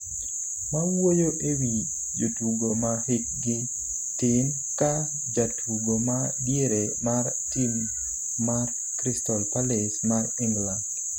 mawuoyo e wi jotugo ma hik gi tin, ka jatugo ma diere mar tim mar Crystal Palace mar England